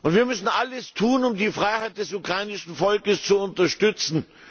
Und wir müssen alles tun, um die Freiheit des ukrainischen Volkes zu unterstützen.